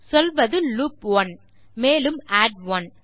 சொல்வது லூப் 1 மேலும் ஆட் 1